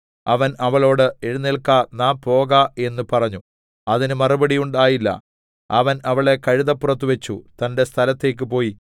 അവൻ അവളോട് എഴുന്നേല്ക്ക നാം പോക എന്ന് പറഞ്ഞു അതിന് മറുപടി ഉണ്ടായില്ല അവൻ അവളെ കഴുതപ്പുറത്ത് വെച്ച് തന്റെ സ്ഥലത്തേക്ക് പോയി